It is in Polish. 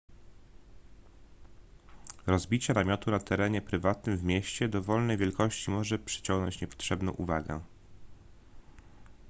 rozbicie namiotu na terenie prywatnym w mieście dowolnej wielkości może przyciągnąć niepotrzebną uwagę